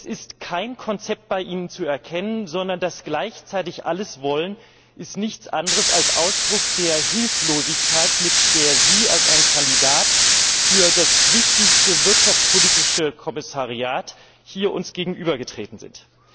Es ist kein Konzept bei Ihnen zu erkennen, sondern dass Sie gleichzeitig alles wollen ist nichts anderes als Ausdruck der Hilflosigkeit, mit der Sie als ein Kandidat für das wichtigste wirtschaftspolitische Kommissariat uns hier gegenübergetreten sind.